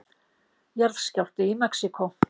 Jarðskjálfti í Mexíkó